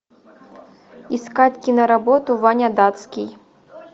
искать киноработу ваня датский